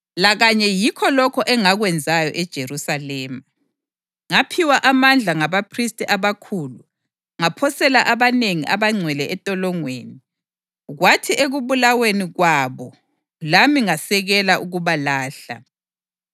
Lakanye yikho lokho engakwenzayo eJerusalema. Ngaphiwa amandla ngabaphristi abakhulu ngaphosela abanengi abangcwele entolongweni, kwathi ekubulaweni kwabo lami ngasekela ukubalahla.